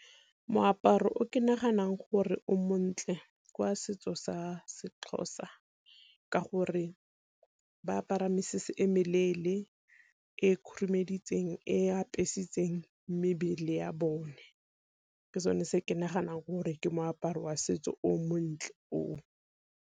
Moaparo o ke naganang gore o montle kwa setso sa se seXhosa ka gore ba apara mesese e meleele e khurumeditseng, e apesitseng mebele ya bone. Ke sone se ke naganang gore ke moaparo wa setso o montle o o.